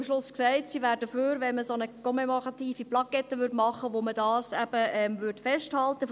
Sie hat ja am Schluss gesagt, dass sie dafür wäre, eine solche «commémorative» Plakette zu machen, wo dies festgehalten würde.